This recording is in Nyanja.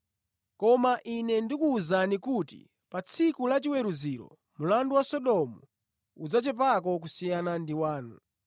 Koma Ine ndikuwuzani kuti pa tsiku la chiweruziro mlandu wa Sodomu udzachepako kusiyana ndi wanu.”